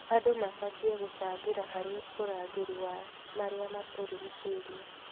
Andũ mabatiĩ gũcangĩra harĩ ũrangĩri wa marĩa matũrigicĩirie.